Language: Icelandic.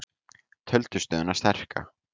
Töldu stöðuna sterka